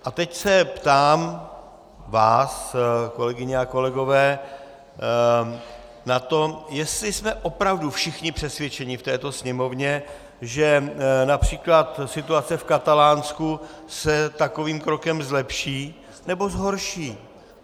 A teď se ptám vás, kolegyně a kolegové, na to, jestli jsme opravdu všichni přesvědčeni v této Sněmovně, že například situace v Katalánsku se takovým krokem zlepší, nebo zhorší.